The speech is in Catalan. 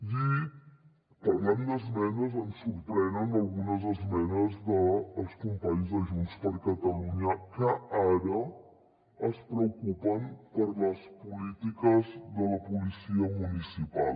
i parlant d’esmenes ens sorprenen algunes esmenes dels companys de junts per catalunya que ara es preocupen per les polítiques de la policia municipal